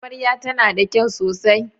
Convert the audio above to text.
Amarya tana da kyau sosai yau.